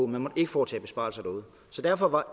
man måtte ikke foretage besparelser derude så derfor var